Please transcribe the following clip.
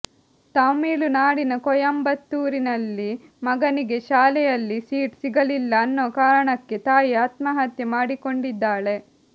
ತಮಿಳುನಾಡಿನ ಕೊಯಂಬತ್ತೂರಿನಲ್ಲಿ ಮಗನಿಗೆ ಶಾಲೆಯಲ್ಲಿ ಸೀಟ್ ಸಿಗಲಿಲ್ಲ ಅನ್ನೋ ಕಾರಣಕ್ಕೆ ತಾಯಿ ಆತ್ಮಹತ್ಯೆ ಮಾಡಿಕೊಂಡಿದ್ದಾಳೆ